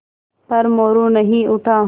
पर मोरू नहीं उठा